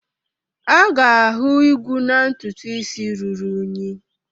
A ga-ahụ igwu na ntutu isi ruru unyi.